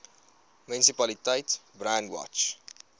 munisipaliteit brandwatch